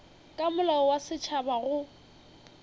ka molao wa setšhaba go